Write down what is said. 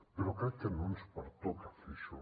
però crec que no ens pertoca fer això